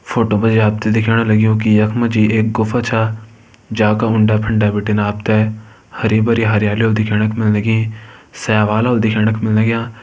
Photo पे आपते दिख्याण लग्युं की यखमा जी एक गुफा च जाका उंडा -फुंडा बिटिन आपते हरी-भरी हरियाली दिखेणक लगीं सेवालाे दिखेणक लाग्यां।